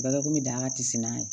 Bagako bɛ dan ka kisi n'a ye